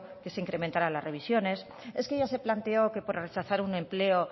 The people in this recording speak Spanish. que se incrementaran las revisiones es que ya se planteó que por rechazar un empleo